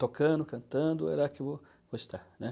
Tocando, cantando, era o que eu gostava, né.